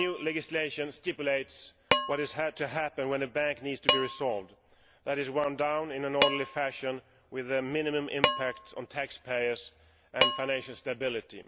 This new legislation stipulates what has to happen when a bank needs to be resolved that is, wound down in an orderly fashion with the minimum impact on taxpayers and financial stability.